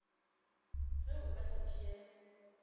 ge o ka se tšee